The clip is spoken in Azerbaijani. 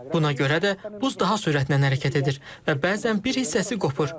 Buna görə də buz daha sürətlə hərəkət edir və bəzən bir hissəsi qopur.